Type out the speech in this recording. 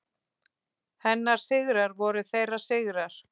Hennar sigrar voru þeirra sigrar.